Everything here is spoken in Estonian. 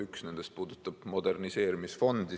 Üks nendest puudutab moderniseerimisfondi.